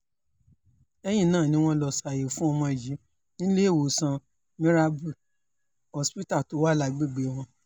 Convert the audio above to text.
lẹ́yìn náà ni wọ́n lọ́ọ́ ṣàyẹ̀wò fún ọmọ yìí níléewọ̀sán mirabel hospital tó wà lágbègbè wọn